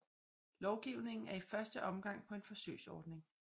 Lovgivningen er i første omgang på en forsøgsordning